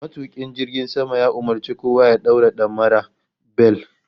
Matukin jirgin sama ya umurci kowa ya daura damara (bel)